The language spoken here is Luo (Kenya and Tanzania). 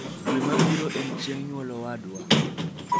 dwe ma birochieng nyuol owadwa